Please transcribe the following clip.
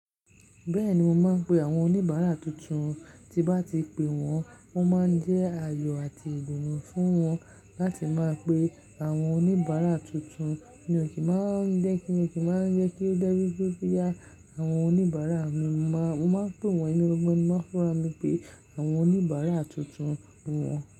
Bẹ́ẹ̀ni mo máa ń pe àwọn oníbàárà tuntun, tí bá ti pé wọ́n, wọ́n máa ń jẹ́ ayọ̀ àti ìdunu fún wọn láti máa pe àwọn oníbàárà tuntun. Mi ò kí máa ń jẹ́ kí, mi ò kí máa ń jẹ́ kí ó je wipe bó tíya àwọn oníbàárà mi, mo máa ń pe wọ́n emi gan gan, mo máa ń fúnra mi pe àwọn oníbàárà tuntun wọ́n.